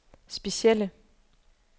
specielle